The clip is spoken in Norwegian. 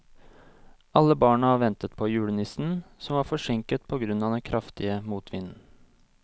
Alle barna ventet på julenissen, som var forsinket på grunn av den kraftige motvinden.